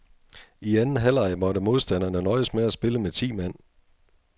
I anden halvleg måtte modstanderne nøjes med at spille med ti mand.